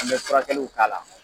An bɛ fura kɛliw k'a la.